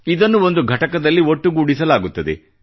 ಇದನ್ನು ಒಂದು ಘಟಕದಲ್ಲಿ ಒಟ್ಟುಗೂಡಿಸಲಾಗುತ್ತದೆ